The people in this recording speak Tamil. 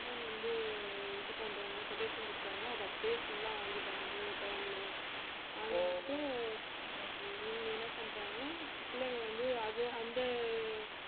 அஹ் வந்து இது பண்றாங்களோ quotation குடுத்தாங்களோ அதை அப்படியே full ஆ வாங்கிட்டாங்க மூணு term லையும் வாங்கிட்டு இவங்க என்ன பண்ணிட்டாங்க பிள்ளைங்களை வந்து அது அந்த